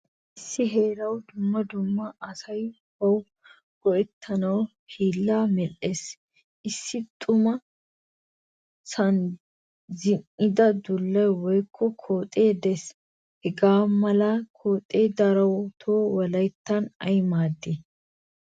Issi heerawu dumma dumma asay bawu go'ettanawu hiilaa medhdhees. Issi xuman sa'an zin'ida dullay woykko koxxe de'ees. Hagamalaa koxee darotto wolayttan ay maadii?